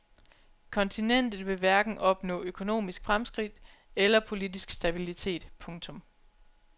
Kontinentet vil hverken opnå økonomisk fremskridt eller politisk stabilitet. punktum